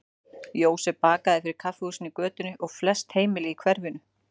Jósef bakaði fyrir kaffihúsin í götunni og flest heimili í hverfinu.